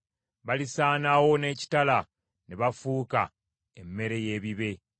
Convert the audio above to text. Balisaanawo n’ekitala; ne bafuuka emmere y’ebibe.